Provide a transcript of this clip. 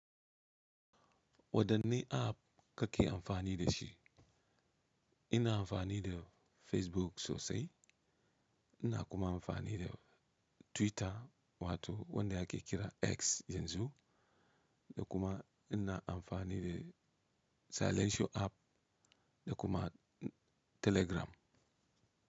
Wadanne app kake amfani da shi? Ina amfani da Facebook sosai. Ina kuma amfani da Twitter wato wanda ake kira X yanzu. Da kuma ina amfani da Silecio app da kuma Telegram.